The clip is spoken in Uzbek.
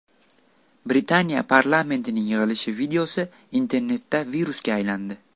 Britaniya parlamentining yig‘ilishi videosi internetda virusga aylandi.